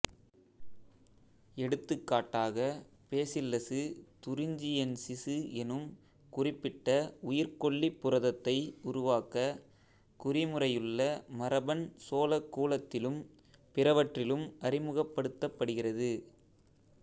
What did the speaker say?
எடுத்துகாட்டாக bacillus thuringiensis எனும் குறிப்பிட்ட உயிர்க்கொல்லிப் புரதத்தை உருவாக்க குறிமுறையுள்ள மரபன் சோளக் கூலத்திலும் பிறவற்றிலும் அறிமுகப்படுத்தப்படுகிறது